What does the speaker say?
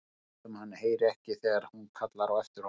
Lætur sem hann heyri ekki þegar hún kallar á eftir honum.